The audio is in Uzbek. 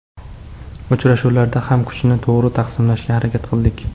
Uchrashuvlarda ham kuchni to‘g‘ri taqsimlashga harakat qildik.